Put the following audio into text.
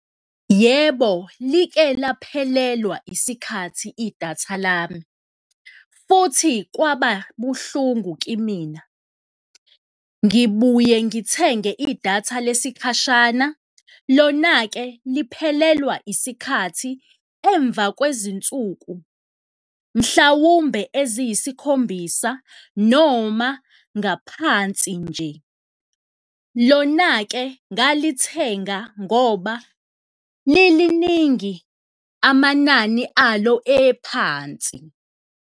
Yebo, like laphelelwa isikhathi idatha lami futhi kwaba buhlungu kimina. Ngibuye ngithenge idatha lesikhashana, lona-ke liphelelwa isikhathi emva kwezinsuku mhlawumbe eziyisikhombisa noma ngaphansi nje, lona-ke ngalithenga ngoba liliningi, amanani alo ephansi.